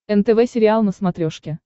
нтв сериал на смотрешке